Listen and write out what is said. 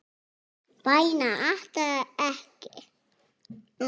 Bænir aftra mér ekki.